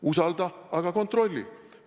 Usalda, aga kontrolli!